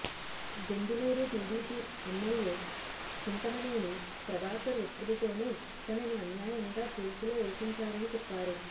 Denduluru TDP MLA Chintamaneni Prabhakar ఒత్తిడితోనే తనను అన్యాయంగా కేసులో ఇరికించారని చెప్పారు